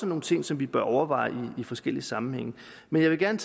nogle ting som vi bør overveje i forskellige sammenhænge jeg vil gerne